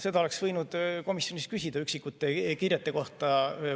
Seda oleks võinud komisjonis küsida üksikute kirjete kohta.